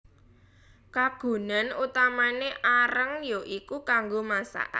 Kagunan utamané areng ya iku kanggo masak